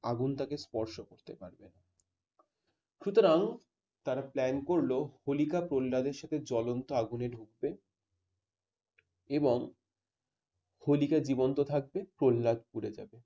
আগুন তাকে স্পর্শ করতে পারবে না। সুতরাং তারা plan করল হেলিকা প্রহল্লাদের সাথে জ্বলন্ত আগুনে ঢুকবে এবং হোলিকা জীবন্ত থাকবে প্রহ্লাদ পুড়ে যাবে।